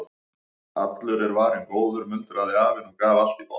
Allur er varinn góður muldraði afinn og gaf allt í botn.